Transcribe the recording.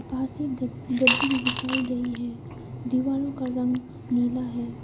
पास ही गद्दी भी बिछाई गई है दीवारों का रंग नीला है।